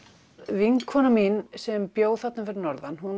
vinkona mín sem bjó þarna fyrir norðan